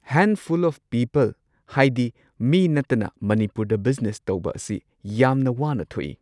Handful of people ꯍꯥꯏꯗꯤ ꯃꯤ ꯅꯠꯇꯅ ꯃꯅꯤꯄꯨꯔꯗ ꯕꯤꯖꯤꯅꯦꯁ ꯇꯧꯕ ꯑꯁꯤ ꯌꯥꯝꯅ ꯋꯥꯅ ꯊꯣꯛꯏ꯫